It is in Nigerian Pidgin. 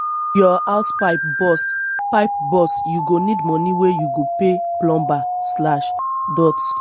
if your house pipe burst pipe burst you go need moni wey you go pay plumber.